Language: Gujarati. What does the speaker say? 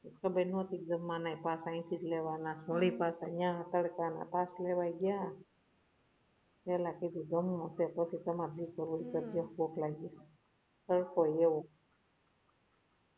ખબર નોતી કે જમવાના pass અયથીજ લેવાના છે વળી પાછા યાહ તડકા મા પાસ લેવા ગયા પહેલા કીધું જમવું છે પછી તમારે જે કરવું હોય એ કરજો ભૂખ લાઈગી છે તડકોય એવો